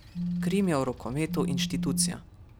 Krim je v rokometu inštitucija.